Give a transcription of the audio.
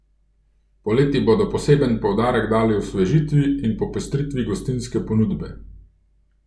Poleti bodo poseben poudarek dali osvežitvi in popestritvi gostinske ponudbe.